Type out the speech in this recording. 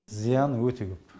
зияны өте көп